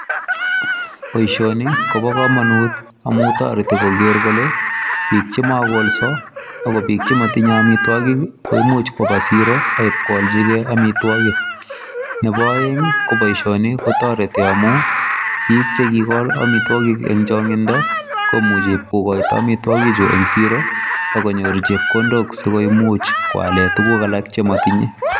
Boisioni kobo komonut amun toreti kogeer kole biik che mokolso ak biik che motinye amitwokik koimuch koba siro ak koalchikee amitwokik ,nepo oeng ko boisioni ko toreti amun biik che kigol amitwokik en changindo komuchi kokoito amitwokichu en siro ak konyor chepkondok si koimuch koalen tukuk alak che motinye.